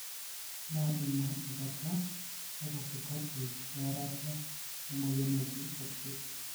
na ina enkata ekatikati earata emoyian naji acute